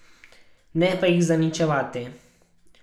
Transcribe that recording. Ne pa jih zaničevati.